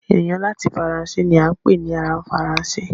Ẹnìyàn láti Faransé ni à n pè ni ará Faransé